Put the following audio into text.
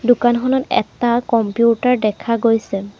দোকানখনত এটা কম্পিউটাৰ দেখা গৈছে।